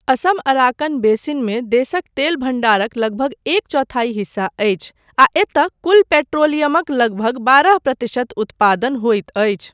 Assam Arakan बेसिनमे देशक तेल भण्डारक लगभग एक चौथाई हिस्सा अछि आ एतय कुल पेट्रोलियमक लगभग बारह प्रतिशत उत्पादन होइत अछि।